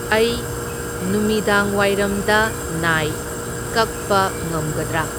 ꯑꯩ ꯅꯨꯃꯤꯗꯥꯡ ꯋꯥꯏꯔꯝꯗ ꯅꯥꯏ, ꯀꯛꯄ ꯉꯝꯒꯗ꯭ꯔꯥ?